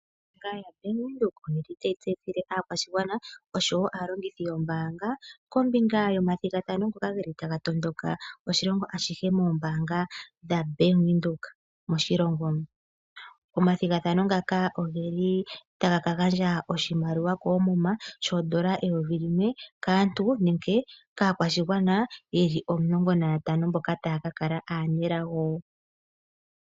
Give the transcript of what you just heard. Ombaanga yaBank Windhoek oye etele aakwashigwana oshowo aalongithi yombaanga kombinga, yomathigathano ngoka ge li ta ga tondoka, oshilongo ashihe moombaanga dhaBank Windhoek moshilongo. Omathigathano oge li ta ga ka gandja oshimaliwa koomuma, shhondola eyovi limwe, kaantu nenge kaakwashigwana, ye li omulongo nayatano mboka taya ka kala aanelago.